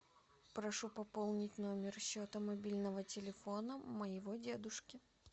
прошу пополнить номер счета мобильного телефона моего дедушки